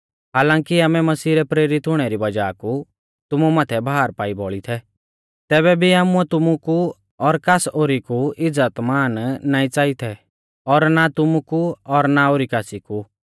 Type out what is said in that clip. हालांकी आमै मसीह रै प्रेरित हुणै री वज़ाह कु तुमु माथै भार पाई बौल़ी थै तैबै भी आमुऐ तुमु कु और कास ओरी कु इज़्ज़तमान नाईं च़ाई थै और ना तुमु कु और ना ओरी कासी कु